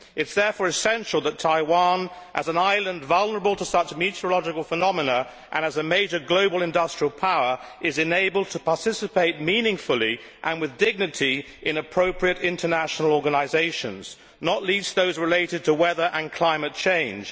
It is therefore essential that Taiwan, as an island vulnerable to such meteorological phenomena and as a major global industrial power, is enabled to participate meaningfully and with dignity in appropriate international organisations, not least those related to weather and climate change.